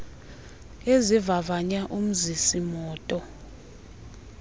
ezivavanya umzisi moto